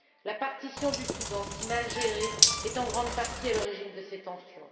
La partition du Soudan, si mal gérée, est en grande partie à l'origine de ces tensions.